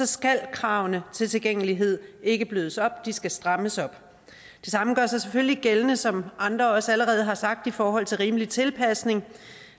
skal kravene tilgængelighed ikke blødes op de skal strammes op det samme gør sig selvfølgelig gældende som andre også allerede har sagt i forhold til rimelig tilpasning